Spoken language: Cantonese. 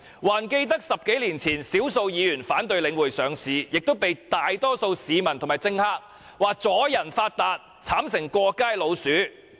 還記得在10多年前，少數議員反對領匯上市，同樣被大多數市民和政客批評為"阻人發達"，並慘成"過街老鼠"。